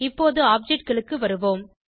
இப்போது objectகளுக்கு வருவோம்